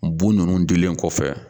Bu ninnu dilen kɔfɛ